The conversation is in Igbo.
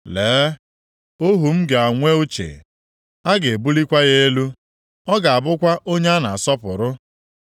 Lee, ohu m ga-enwe uche, a ga-ebulikwa ya elu, ọ ga-abụkwa onye a na-asọpụrụ.